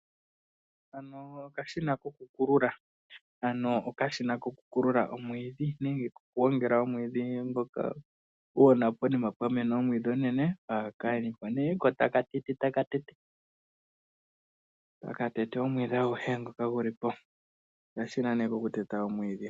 Hano okashina koku kulula, ano okashina koku kukula omwiidhi nenge koku gwongela omwiidhi ngoka uuna ponima pwa mena omwiidhi omunene ko taka tete taka tete omwiidhi aguhe ngoka gulipo, okashina nee koku teta omwiidhi.